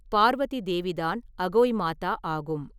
பார்வதி தேவிதான் அகோய் மாதா ஆகும்.